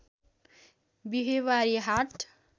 बिहिवारे हाट